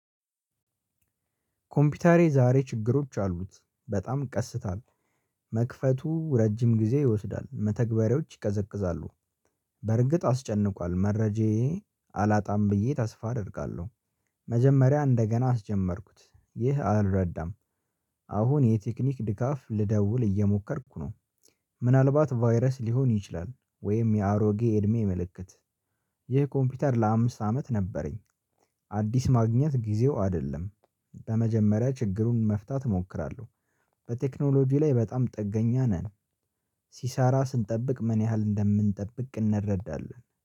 ኮምፒተሬ ዛሬ ችግሮች አሉት በጣም ቀስታ፤ መክፈቱ ረጅም ጊዜ ይወስዳል፤። መተግበሬዎች ይቀዘቅዛሉ፤። በርግጥ አስጨንቋል መረጃዬ አላጣም ብዬ ተስፋ አደርጋለሁ። መጀመሪያ እንደገና አስጀመርኩት ይህ አልረዳም። አሁን የቴክኒክ ድጋፍ ልደውል እየሞከርኩ ነው፤። ምናልባት ቫይረስ ሊሆን ይችላል ወይም የአሮጌ እድሜ ምልክት። ይህ ኮምፒውተር ለአምስት አመት ነበረኝ። አዲስ ማግኘት ጊዜው አይደለም። በመጀመሪያ ችግሩን መፍታት እሞክራለሁ። በቴክኖሎጂ ላይ በጣም ጥገኛ ነን። ሲሰራ ስንጠብቅ ምን ያህል እንደምንጠብቅ እንረዳለን